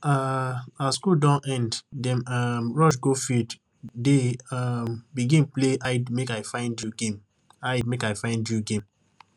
um as school don end dem um rush go field dey um begin play hidemakeifindyou game hidemakeifindyou game